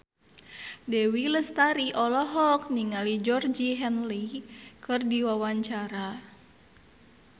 Dewi Lestari olohok ningali Georgie Henley keur diwawancara